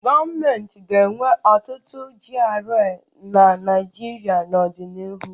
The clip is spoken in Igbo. Gọọmentị ga-enwe ọtụtụ GRA na Naịjirịa n'ọdịnihu.